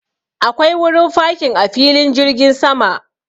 Akwai wurin fakin a filin jirgin sama.